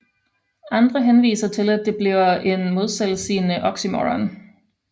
Andre henviser til at det bliver en selvmodsigende oxymoron